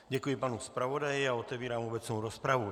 Děkuji panu zpravodaji a otevírám obecnou rozpravu.